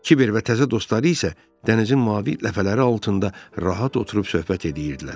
Kiber və təzə dostları isə dənizin mavi ləpələri altında rahat oturub söhbət edirdilər.